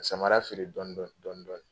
Samara feere dɔndɔni dɔndɔni